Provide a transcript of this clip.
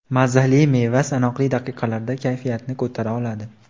Mazali meva sanoqli daqiqalarda kayfiyatni ko‘tara oladi.